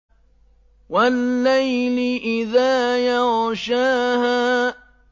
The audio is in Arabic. وَاللَّيْلِ إِذَا يَغْشَاهَا